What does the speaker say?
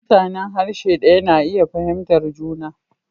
Mutanen harshe ɗaya na iya fahimtar juna.